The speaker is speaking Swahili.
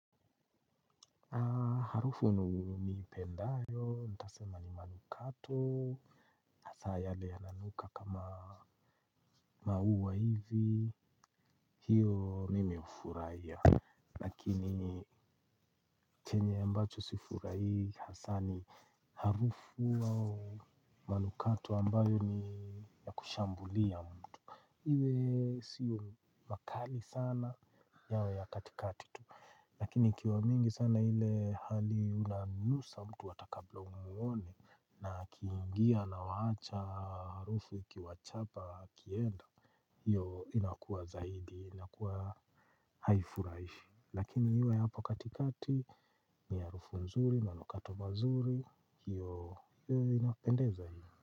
Harufu ni ipendayo, nitasema ni manukato. Hasaa yale yananuka kama mauwa hivi, hiyo mimi hufuraia. Lakini chenye mbacho sifurahi hasa ni harufu au manukato ambayo ni kushambulia mtu. Iwe siyo makali sana yawe ya katikati tu. Lakini ikiwa mingi sana ile hali unanusa mtu hata kabla umuone na akiingia anawaacha harufu ikiwachapa akienda. Hiyo inakuwa zaidi inakuwa haifuraishi lakini iwe ya hapo katikati ni harufu nzuri manukato mazuri hiyo inapendeza hii.